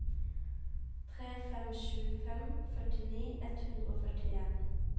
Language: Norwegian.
tre fem sju fem førtini ett hundre og førtien